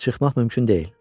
Çıxmaq mümkün deyil.